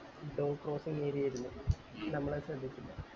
dont cross area ആയിരുന്നു നമ്മൾ അത് ശ്രദ്ധിച്ചില്ല